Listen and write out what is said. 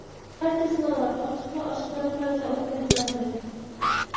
Barcha sinovlar ochiq va oshkora tarzda o‘tkaziladi.